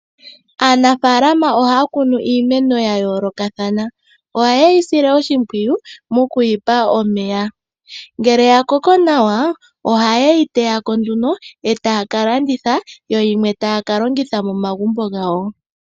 Aanafalama ohaya kunu iimeno ya yoolokathana ohayeyi sile oshimpwiyu moku yipa omeya. Ngele ya koko nawa oha yeyi teyako nduno etaya ka landitha yo yimwe taya ka longitha momagumbo gawo.